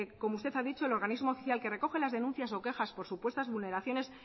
que es como usted ha dicho el organismo oficial que recoge las denuncias o quejas por supuestas vulneraciones